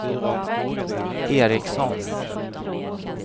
Ericsson